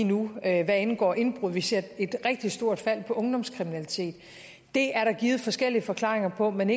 nu hvad angår indbrud vi ser et rigtig stort fald i ungdomskriminaliteten det er der givet forskellige forklaringer på men